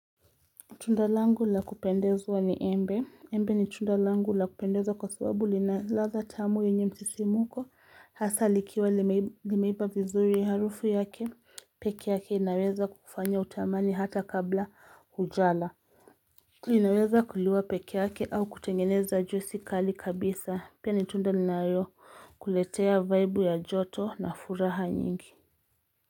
Tunda langu lakupendezwa ni embe, embe ni tunda langu lakupendeza kwa sababu lina ladha tamu yenye msisimuko, hasa likiwa limeiva vizuri ya harufu yake peke yake inaweza kufanya utamani hata kabla hujala. Inaweza kuliwa peke yake au kutengeneza juisi kali kabisa, pia nitunda linayo kuletea vaibu ya joto na furaha nyingi.